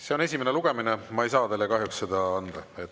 See on esimene lugemine, ma ei saa teile kahjuks seda anda.